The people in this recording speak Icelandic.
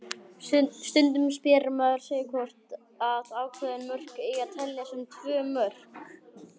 Stundum spyr maður sig hvort að ákveðin mörk eigi að telja sem tvö mörk.